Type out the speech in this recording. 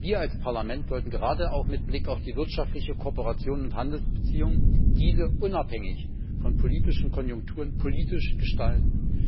Wir als Parlament sollten gerade auch mit Blick auf die wirtschaftliche Kooperation und die Handelsbeziehungen diese unabhängig von politischen Konjunkturen politisch gestalten.